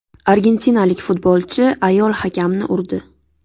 Argentinalik futbolchi ayol hakamni urdi.